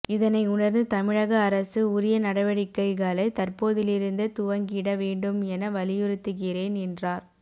இதனை உணா்ந்து தமிழக அரசு உரிய நடவடிக்கைகளை தற்போதிலிருந்தே துவங்கிட வேண்டும் என வலியுறுத்துகிறேன் என்றார